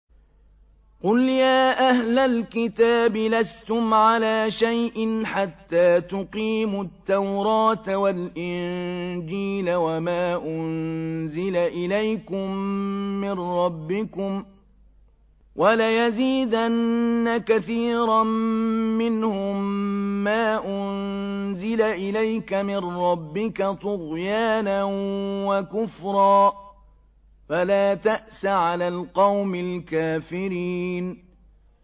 قُلْ يَا أَهْلَ الْكِتَابِ لَسْتُمْ عَلَىٰ شَيْءٍ حَتَّىٰ تُقِيمُوا التَّوْرَاةَ وَالْإِنجِيلَ وَمَا أُنزِلَ إِلَيْكُم مِّن رَّبِّكُمْ ۗ وَلَيَزِيدَنَّ كَثِيرًا مِّنْهُم مَّا أُنزِلَ إِلَيْكَ مِن رَّبِّكَ طُغْيَانًا وَكُفْرًا ۖ فَلَا تَأْسَ عَلَى الْقَوْمِ الْكَافِرِينَ